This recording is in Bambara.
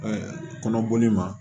kɔnɔboli ma